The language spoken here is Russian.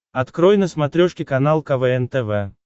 открой на смотрешке канал квн тв